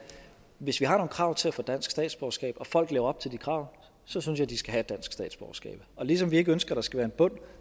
hvis vi har nogle krav til at få dansk statsborgerskab og folk lever op til de krav så synes jeg de skal have et dansk statsborgerskab og ligesom vi ikke ønsker at der skal være en bund